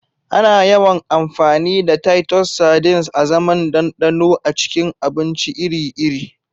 Ana yawan amfani da Titus sardines azaman ɗanɗano a cikin abinci iri-iri.